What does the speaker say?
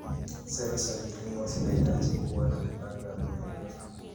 Sera za kilimo zinahitaji kuwa na mipango ya muda mrefu.